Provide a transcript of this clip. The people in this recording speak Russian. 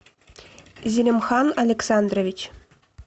зелимхан александрович